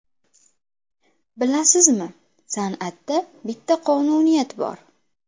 Bilasizmi, san’atda bitta qonuniyat bor.